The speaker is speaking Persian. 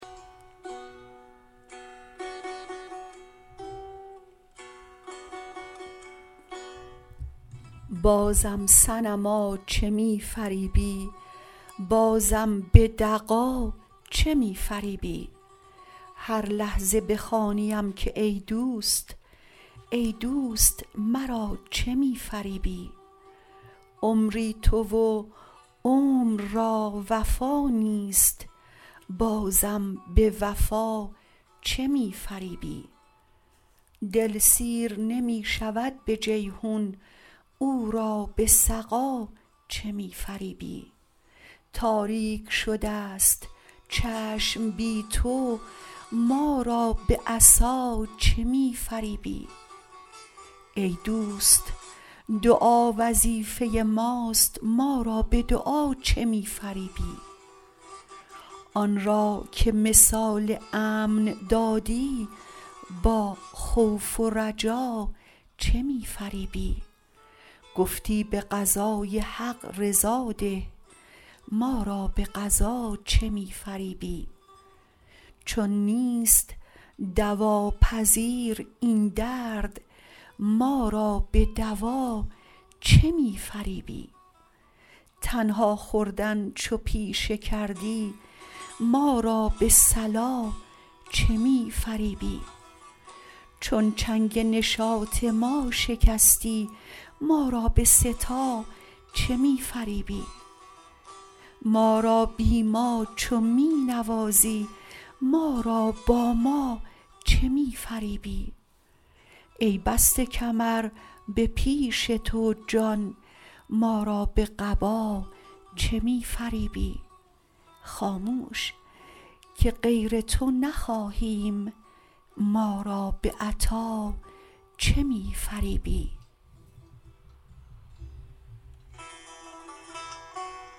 بازم صنما چه می فریبی بازم به دغا چه می فریبی هر لحظه بخوانیم که ای دوست ای دوست مرا چه می فریبی عمری تو و عمر را وفا نیست بازم به وفا چه می فریبی دل سیر نمی شود به جیحون او را به سقا چه می فریبی تاریک شده ست چشم بی تو ما را به عصا چه می فریبی ای دوست دعا وظیفه ماست ما را به دعا چه می فریبی آن را که مثال امن دادی با خوف و رجا چه می فریبی گفتی به قضای حق رضا ده ما را به قضا چه می فریبی چون نیست دواپذیر این درد ما را به دوا چه می فریبی تنها خوردن چو پیشه کردی ما را به صلا چه می فریبی چون چنگ نشاط ما شکستی ما را به سه تا چه می فریبی ما را بی ما چو می نوازی ما را با ما چه می فریبی ای بسته کمر به پیش تو جان ما را به قبا چه می فریبی خاموش که غیر تو نخواهیم ما را به عطا چه می فریبی